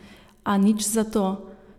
A nič zato.